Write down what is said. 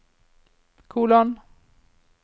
kolon